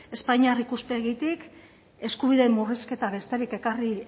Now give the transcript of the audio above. espainiar ikuspegitik eskubideen murrizketa besterik ekarri